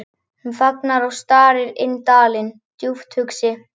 Hún þagnar og starir inn dalinn, djúpt hugsi.